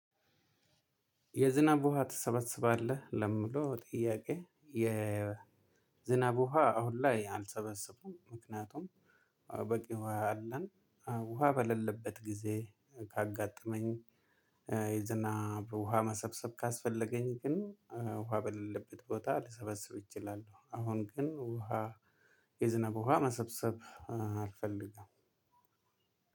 የዝናብ ውሃ ትሰበስባለህ ለምለው ጥያቄ የ ዝናብ ውሃ አሁን ላይ አልሰበሰብኩም ምክንያቱም በቂ ውሃ አለን። ውሃ በሌለበት ጊዜ ካጋጠመኝ የዝናብ ውሃ አሁን ላይ አልሰበስብም ምክንያቱም በቂ ውሃ አለን። ውሃ በሌለበት ጊዜ ካጋጠመኝ የዝናብ ውሃ መሰብሰብ ካስፈለገኝ ግን ውሃ በሌለበት ቤት ልሰበስብ እችላለሁ። አሁን ግን ውሃ